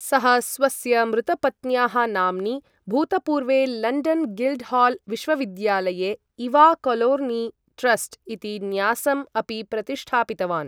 सः स्वस्य मृतपत्न्याः नाम्नि, भूतपूर्वे लण्डन् गिल्ड्हाल् विश्वविद्यालये इवा कोलोर्नी ट्रस्ट् इति न्यासम् अपि प्रतिष्ठापितवान्।